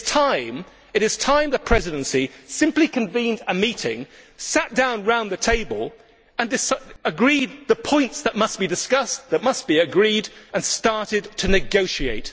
It is time that the Presidency simply convened a meeting, sat down round the table and agreed the points that must be discussed, that must be agreed upon, and then started to negotiate.